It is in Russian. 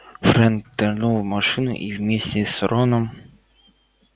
фред нырнул в машину и вместе с роном